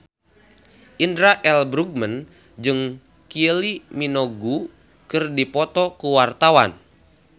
Indra L. Bruggman jeung Kylie Minogue keur dipoto ku wartawan